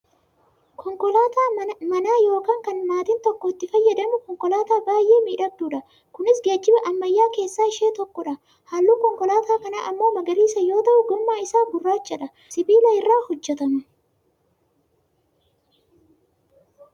Konkolaataa manaa yookaan kan maatiin tokko itti fayyadamu Konkolaataa baayyee miidhagduudha. Kunis geejjiba ammayyaa keessaa ishee tokkodha. Halluun Konkolaataa kanaa ammok magariisa yoo ta'u gommaa isaa gurraachadha. Sibiila irraa hojjatama.